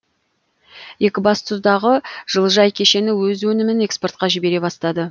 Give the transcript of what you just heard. екібастұздағы жылыжай кешені өз өнімін экспортқа жібере бастады